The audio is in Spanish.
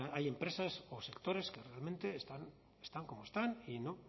hay empresas o sectores que realmente están como están y no